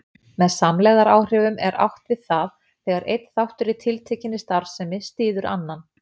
Með samlegðaráhrifum er átt við það þegar einn þáttur í tiltekinni starfsemi styður annan.